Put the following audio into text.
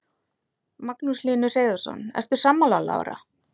Magnús Hlynur Hreiðarsson: Ertu sammála Lára?